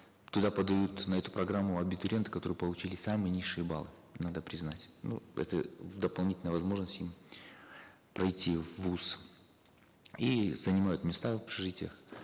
туда подают на эту программу абитуриенты которые получили самые низшие баллы надо признать ну это дополнительная возможность им пройти в вуз и занимают места в общежитиях